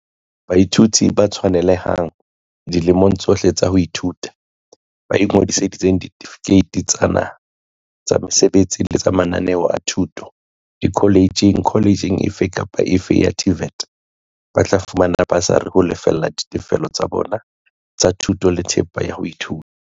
Baithuti ba tshwanelehang, dilemong tsohle tsa ho ithuta, ba ingodiseditseng ditefikeiti tsa naha tsa mesebetsi le mananeo a thuto dikhole tjheng - kholetjheng efe kapa efe ya TVET - ba tla fumana basari ho lefella ditefello tsa bona tsa thuto le thepa ya ho ithuta.